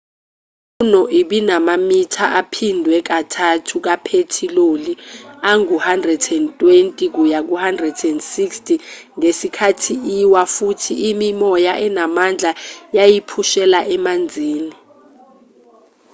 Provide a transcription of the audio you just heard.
i-luno ibinamamitha aphindwe kathathu kaphethiloli angu-120-160 ngesikhathi iwa futhi imimoya enamandla yayiphushela emanzini